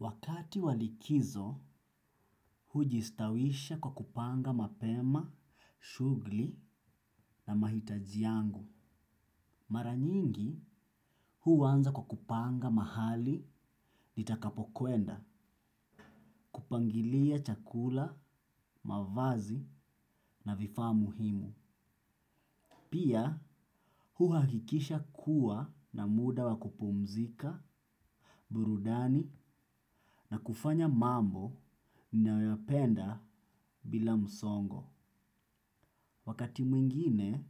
Wakati wa likizo, hujistawisha kwa kupanga mapema shughuli na mahitaji yangu. Mara nyingi, huanza kwa kupanga mahali nitakapokwenda, kupangilia chakula, mavazi na vifaa muhimu. Pia, huhakikisha kuwa na muda wa kupumzika, burudani na kufanya mambo ninayoyapenda bila msongo. Wakati mwingine,